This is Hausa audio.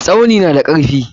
Tsauni na da karfi.